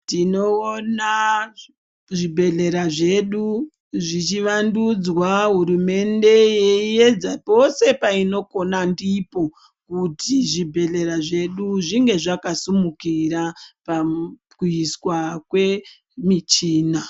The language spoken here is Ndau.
Tinoona zvibhedhlera zvedu zvichivandudzwa, hurumende yeiedza pose painokona ndipo kuti zvibhedhlera zvedu zvinge zvakasimukira pakuiswa kwemichina.